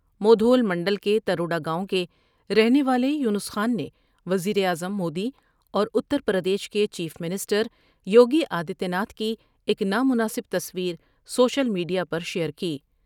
مودھول منڈل کے تر وڈا گاؤں کے رہنے والے یونس خان نے وزیراعظم مودی اور اتر پردیش کے chief minister Yogi Adityanath کی ایک نا مناسب تصویر سوشل میڈ یا پرشیئر کی ۔